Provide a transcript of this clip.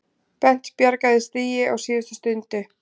Bent bjargaði stigi á síðustu stundu